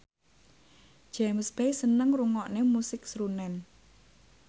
James Bay seneng ngrungokne musik srunen